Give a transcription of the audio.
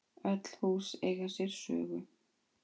Öll hús eiga sér sögu.